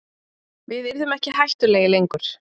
Við yrðum ekki hættulegir lengur.